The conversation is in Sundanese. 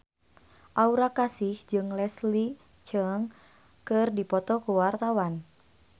Aura Kasih jeung Leslie Cheung keur dipoto ku wartawan